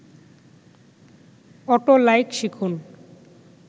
auto like শিখুন